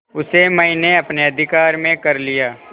उसे मैंने अपने अधिकार में कर लिया